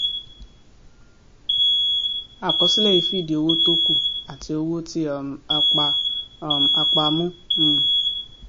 àkọsílẹ yìí fìdí owó tó kù àti owó tí um a pa um a pa mú um